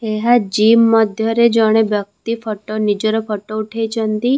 ଏହା ଜିମ ମଧ୍ୟରେ ଜଣେ ବ୍ୟକ୍ତି ଫଟୋ ନିଜର ଫଟୋ ଉଠେଇଛନ୍ତି ।